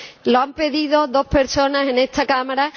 Lo han pedido dos personas en esta Cámara.